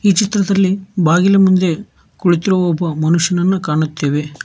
ಚಿತ್ರದಲ್ಲಿ ಬಾಗಿಲ ಮುಂದೆ ಕುಳಿತಿರುವ ಒಬ್ಬ ಮನುಷ್ಯನನ್ನು ಕಾಣುತ್ತೆವೆ.